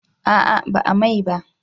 A'a ba a mai ba